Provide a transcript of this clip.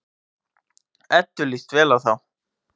Eddu líst vel á þá.